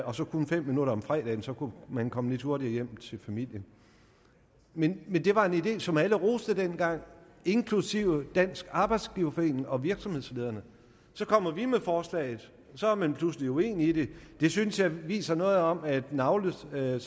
og så kun fem minutter om fredagen så kunne man komme lidt hurtigere hjem til familien men det var en idé som alle roste dengang inklusive dansk arbejdsgiverforening og virksomhedslederne så kommer vi med forslaget og så er man pludselig uenig i det det synes jeg viser noget om at navlestrengen